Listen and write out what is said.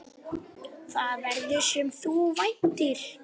Það verður, sem þú væntir.